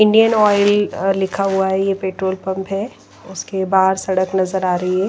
Indian Oil लिखा हुआ है यह पेट्रोल पंप है उसके बाहर सड़क नजर आ रही है।